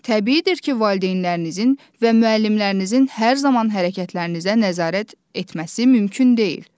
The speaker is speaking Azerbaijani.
Təbiidir ki, valideynlərinizin və müəllimlərinizin hər zaman hərəkətlərinizə nəzarət etməsi mümkün deyil.